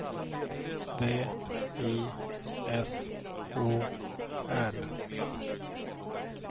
V I S O R